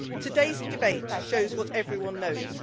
Today's debate shows what everyone knows.